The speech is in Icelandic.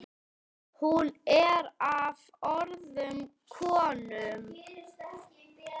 Hún ber af öðrum konum.